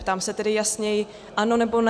Ptám se tedy jasněji: ano, nebo ne?